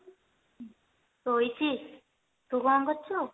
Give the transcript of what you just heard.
ଶୋଇଛି ତୁ କଣ କରୁଛୁ